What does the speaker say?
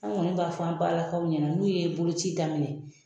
Anw kɔni b'a fɔ an balakaw ɲɛna n'u ye boloci daminɛ